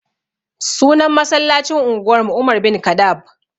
Sunan masallacin unguwar mu umar bin kaɗab